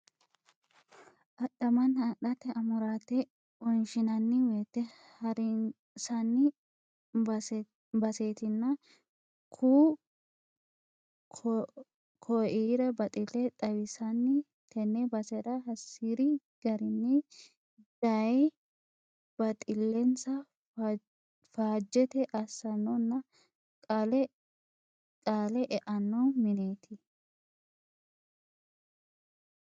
Adhamana adhate amurate wonshinanni woyte harinsanni basetinna ku"u koira baxile xawisanni tene basera hasiri garinni daye baxilensa faajete assanonna qaale eano mineti.